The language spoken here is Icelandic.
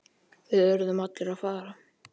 Við urðum allir að fara.